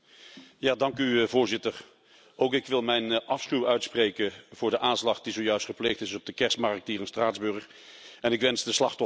Voorzitter, ook ik wil mijn afschuw uitspreken over de aanslag die zojuist gepleegd is op de kerstmarkt hier in Straatsburg, en ik wens de slachtoffers heel veel sterkte.